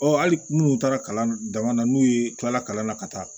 Ɔ hali minnu taara kalan dama na n'u ye tilala kalan na ka taa